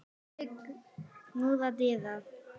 Daði knúði dyra.